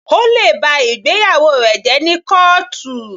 O lè ba ìgbéyàwó rẹ jẹ́ ní kọ́ọ̀tù.